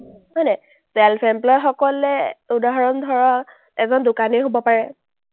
self employed সকলে উদাহৰণ ধৰা এজন দোকানীৰ হ’ব পাৰে,